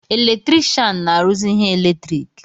Eletrikshan na-arụzị ihe eletriki